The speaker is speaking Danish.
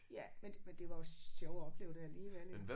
Ja men det men det var jo sjovt at opleve det alligevel ik